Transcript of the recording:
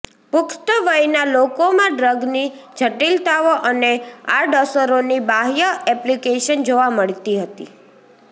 પુખ્ત વયના લોકોમાં ડ્રગની જટિલતાઓ અને આડઅસરોની બાહ્ય એપ્લિકેશન જોવા મળતી નથી